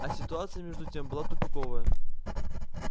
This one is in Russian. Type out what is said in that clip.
а ситуация между тем была тупиковая